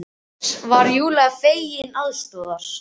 Loks var Júlía fengin til aðstoðar.